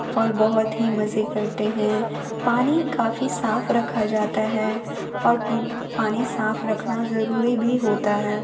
और बहुत ही मजे करते हैं। पानी काफी साफ रखा जाता है और पानी साफ रखना जरूरी भी होता है।